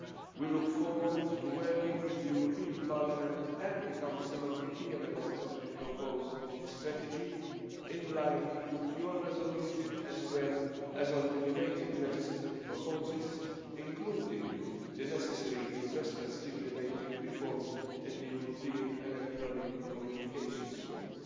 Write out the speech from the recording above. We look forward to working with the European Parliament and the Council on the key elements of the proposed strategy, in line with your resolution, as well as on the related legislative proposals, including the necessary investment stimulating reforms in the European Electronic Communications Code.